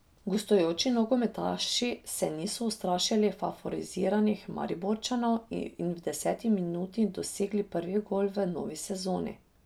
Gostujoči nogometaši se niso ustrašili favoriziranih Mariborčanov in v deseti minuti dosegli prvi gol v novi sezoni.